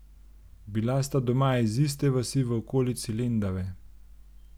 Bila sta doma iz iste vasi v okolici Lendave.